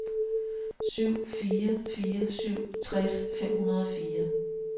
syv fire fire syv tres fem hundrede og fire